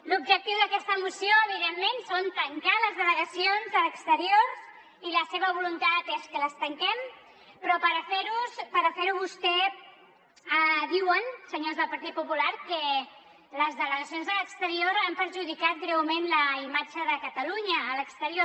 l’objectiu d’aquesta moció evidentment és tancar les delegacions a l’exterior i la seva voluntat és que les tanquem però per fer ho vostès diuen senyors del partit popular que les delegacions a l’exterior han perjudicat greument la imatge de catalunya a l’exterior